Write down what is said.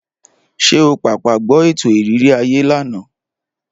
Ṣé o pàpà gbọ́ ètò ìrírí ayé lánàá?